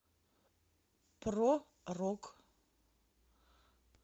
про рок